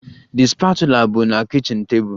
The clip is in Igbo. The spatula bụ na kichin table